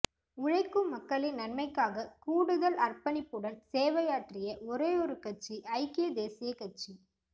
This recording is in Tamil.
உழைக்கும் மக்களின் நன்மைக்காக கூடுதல் அர்ப்பணிப்புடன் சேவையாற்றிய ஒரேயொரு கட்சி ஐக்கிய தேசிய கட்சி